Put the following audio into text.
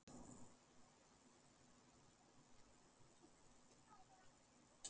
Jæja, þá er þetta orðið gott. Förum.